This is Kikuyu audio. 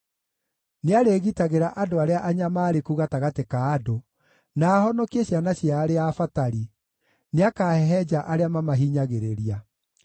Nĩarĩgitagĩra andũ arĩa anyamaarĩku gatagatĩ ka andũ, na ahonokie ciana cia arĩa abatari; nĩakahehenja arĩa mamahinyagĩrĩria.